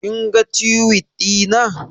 Kin ga Tiwit ɗina